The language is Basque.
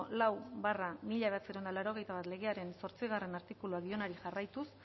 lau barra mila bederatziehun eta laurogeita bat legearen zortzigarrena artikuluari dionari jarraituz